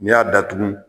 N'i y'a datugu